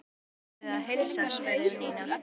Hverjum biðurðu að heilsa? spurði Nína.